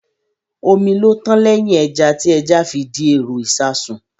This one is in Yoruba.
Omi ló tán lẹ́yìn ẹja, tí ẹja fi di èrò ìṣasùn